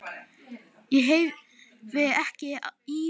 Ég heyrði ekki í þér.